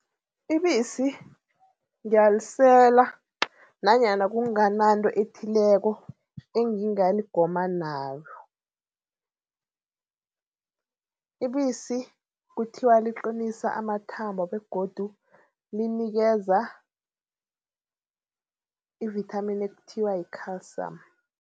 Ibisi ngiyalisela nanyana kungananto ethileko engingaligoma nayo. Ibisi kuthiwa liqinisa amathambo begodu linikeza ivithamini ekuthiwa yi-calcium.